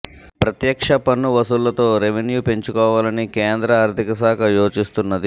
ప్రత్యక్ష పన్ను వసూళ్లతో రెవెన్యూ పెంచుకోవాలని కేంద్ర ఆర్థిక శాఖ యోచిస్తున్నది